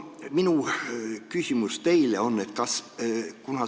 Minu küsimus teile on selline.